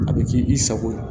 A bɛ k'i i sago ye